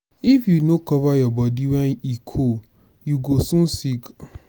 if you no cover your body when e cold you go soon sick.